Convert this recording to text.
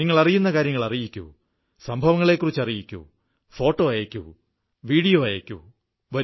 നിങ്ങളറിയുന്ന കാര്യങ്ങൾ അറിയിക്കു സംഭവങ്ങളെക്കുറിച്ചറിയിക്കൂ ഫോട്ടോ അയയ്ക്കൂ വീഡിയോ അയയ്ക്കൂ